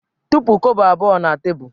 Tụpụ kobo abụọ na tebụl!